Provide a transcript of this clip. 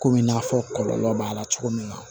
Komi i n'a fɔ kɔlɔlɔ b'a la cogo min na